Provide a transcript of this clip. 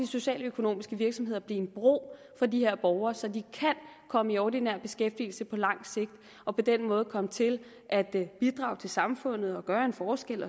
socialøkonomiske virksomheder blive en bro for de her borgere så de kan komme i ordinær beskæftigelse på lang sigt og på den måde komme til at bidrage til samfundet og gøre en forskel